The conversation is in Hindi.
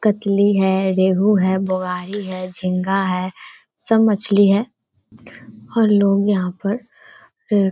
कतली है रेहू है बुआरी है झींगा है सब मछली है और लोग यहाँ पर अ --